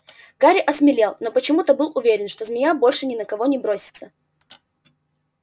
гарри осмелел но почему-то был уверен что змея больше ни на кого не бросится